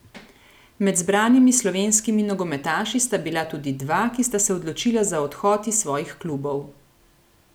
Med zbranimi slovenskimi nogometaši sta bila tudi dva, ki sta se odločila za odhod iz svojih klubov.